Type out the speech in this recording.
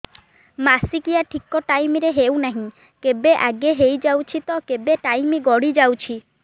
ମାସିକିଆ ଠିକ ଟାଇମ ରେ ହେଉନାହଁ କେବେ ଆଗେ ହେଇଯାଉଛି ତ କେବେ ଟାଇମ ଗଡି ଯାଉଛି